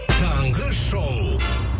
таңғы шоу